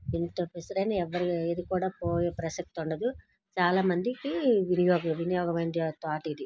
ఇంత విసరైన ఎవ్వరు ఏది కూడా పోయే ప్రసక్తే ఉండదు. చాలామందికి వినియోగ వినియోగమైన తోటిది.